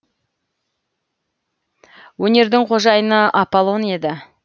өнердің қожайыны аполлон еді